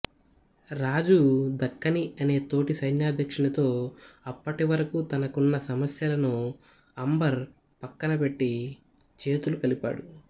రాజు దక్కనీ అనే తోటి సైన్యాధ్యక్షునితో అప్పటివరకూ తనకున్న సమస్యలను అంబర్ పక్కనపెట్టి చేతులు కలిపాడు